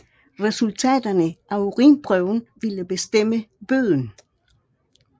Resultaterne af urinprøven ville bestemme bøden